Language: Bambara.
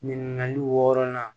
Ɲininkali wɔɔrɔnan